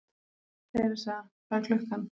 Theresa, hvað er klukkan?